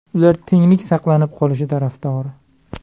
Ular tenglik saqlanib qolishi tarafdori.